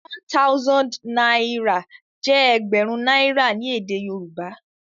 One thousand náírà jé ẹgbẹrun náírà ní èdè Yorùbá